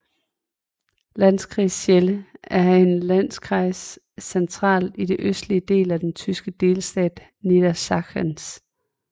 Landkreis Celle er en Landkreis centralt i den østlige del af den tyske delstat Niedersachsen